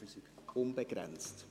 Die Zeit ist unbegrenzt.